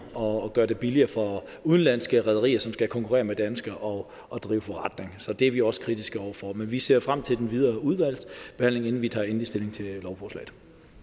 og gør det billigere for udenlandske rederier som skal konkurrere med danske og og drive forretning det er vi også kritiske over for men vi ser frem til den videre udvalgsbehandling inden vi tager endelig stilling til lovforslaget